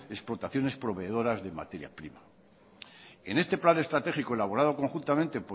exportaciones proveedoras de materia prima en este plan estratégico elaborado conjuntamente